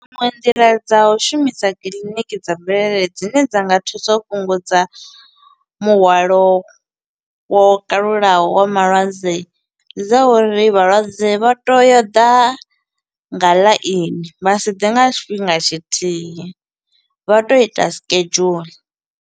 Dziṅwe nḓila dza u shumisa kiḽiniki dza mvelele dzine dza nga thusa u fhungudza muhwalo wo kalulaho wa malwadze, ndi dza uri vhalwadze vha te yo u ḓa nga ḽaini, vha si ḓe nga tshifhinga tshithihi, vha to ita schedule.